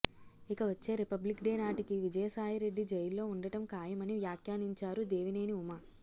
ఇక వచ్చే Republic Day నాటికి విజయసాయిరెడ్డి జైల్లో ఉండటం ఖాయమని వ్యాఖ్యానించారు దేవినేని ఉమ